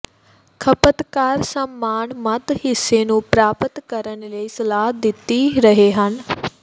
ਖਪਤਕਾਰ ਸਾਮਾਨ ਮੱਧ ਹਿੱਸੇ ਨੂੰ ਪ੍ਰਾਪਤ ਕਰਨ ਲਈ ਸਲਾਹ ਦਿੱਤੀ ਰਹੇ ਹਨ